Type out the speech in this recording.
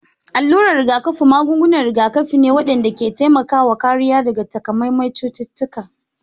Alurar rigakafi magungunan rigakafi ne waɗanda ke taimakawa kariya daga takamaiman cututtuka